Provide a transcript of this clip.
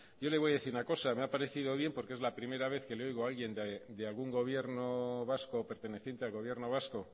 yo le voy a decir una cosa me ha parecido bien porque es la primera vez que le oigo a alguien de algún gobierno vasco perteneciente al gobierno vasco